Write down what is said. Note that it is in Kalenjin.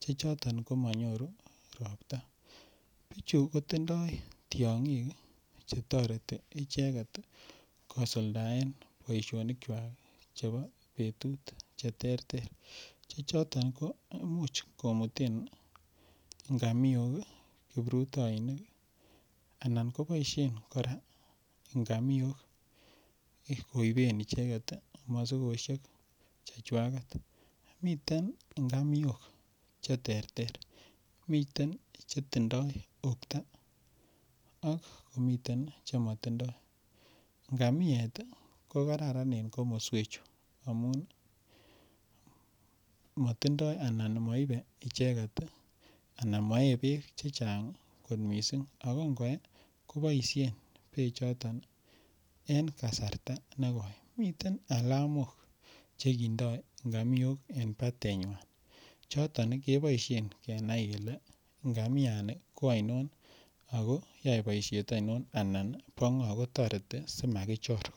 che choton komonyoru robta, bichu kotindoi tiongik chetoreti icheket kosuldaen boishonikwak chebo betut cheterter che choton ko imuch komuten ingamiok kiprutoinik anan koboishen kora ingamiok koben icheket mosikoshek chechwaket, miten ingamiok cheterter, miten chetindo ukta ak komiten chemotindo, ngamiet ko kararan en komoswechu amun motindoi anan moibe icheket anan moee beek chechang kot mising ak ko ngoyee koboishen bechoton en kasarta nekoi, miten alamok chekindoi ngamiok en batenywan, choton keboishen kenai kelee ngamiani ko ainon ak ko yoe boishet ainon ann bo ngo kotoreti simakichor.